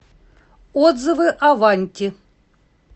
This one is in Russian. отзывы аванти